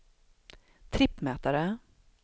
trippmätare